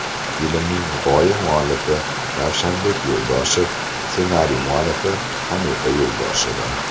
Filmning g‘oya muallifi Ravshanbek Yo‘ldoshev, ssenariy muallifi Hanifa Yo‘ldosheva.